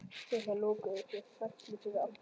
Dyrnar lokuðust með smelli fyrir aftan hann.